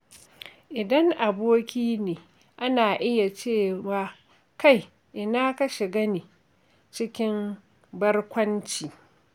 Idan aboki ne, ana iya cewa “Kai! Ina ka shiga ne?” cikin barkwanci.